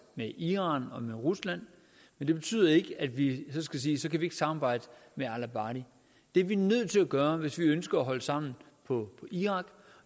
med iran og med rusland men det betyder ikke at vi skal sige at så kan vi ikke samarbejde med al abadi det er vi nødt til at gøre hvis vi ønsker at holde sammen på irak og